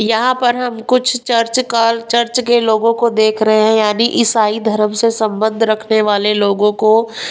यहां पर हम कुछ चर्च काल चर्च के लोगों को देख रहे हैं यानी ईसाई धर्म से संबंध रखने वाले लोगों को --]